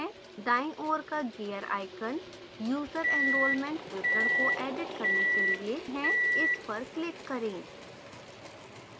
दाईं ओर का gear icon user enrolment विवरण को एडिट करने के लिए है इस पर क्लिक करें